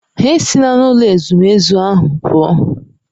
Ha esila n'ụlọ ezumezu ahụ pụọ.